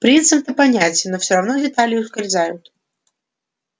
принцип-то понятен но все равно детали ускользают